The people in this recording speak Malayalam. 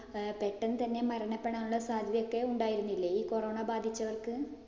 പെട്ടെന്ന് തന്നെ മരണപ്പെടാനുള്ള സാധ്യതയൊക്കെ ഉണ്ടായിരുന്നില്ലേ. ഈ corona ബാധിച്ചവർക്ക്